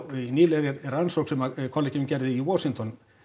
í nýlegri rannsókn sem kollegi minn gerði í Washington